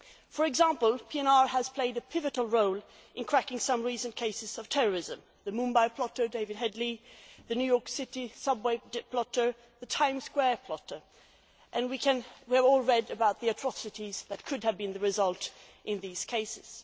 For example, PNR has played a pivotal role in cracking some recent cases of terrorism the Mumbai plotter David Headley, the New York City subway plotter, the Times Square plotter and we have all read about the atrocities that could have been perpetrated in these cases.